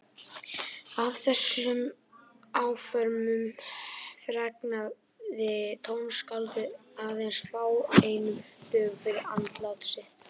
Af þessum áformum fregnaði tónskáldið aðeins fáeinum dögum fyrir andlát sitt.